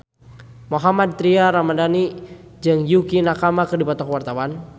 Mohammad Tria Ramadhani jeung Yukie Nakama keur dipoto ku wartawan